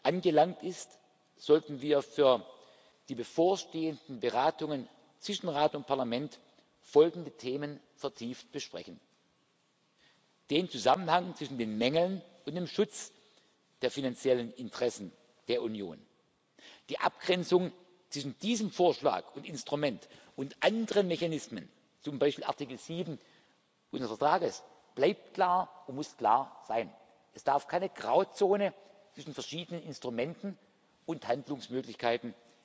zu beratenden Bericht angelangt ist, sollten wir für die bevorstehenden Beratungen zwischen Rat und Parlament folgende Themen vertieft besprechen den Zusammenhang zwischen den Mängeln und dem Schutz der finanziellen Interessen der Union. Die Abgrenzung zwischen diesem Vorschlag und Instrument und anderen Mechanismen, zum Beispiel Artikel 7 unseres Vertrags, bleibt klar und muss klar sein. Es darf keine Grauzone zwischen verschiedenen Instrumenten und